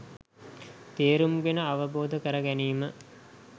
තේරුම් ගෙන අවබෝධ කරගැනීම